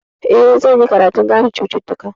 Eh, zan yi karatun gane cututtuka.